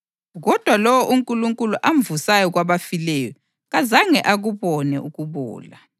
Kodwa lowo uNkulunkulu amvusayo kwabafileyo kazange akubone ukubola.